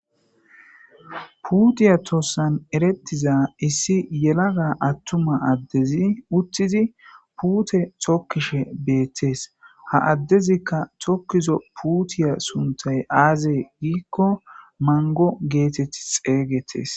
Puutiya tossan erettiza issi yelaga attuma addezi uttizi puute tokkishe beettees ha addezikka tokkizo putiya suntay aaze giikko mango geetett xeygettes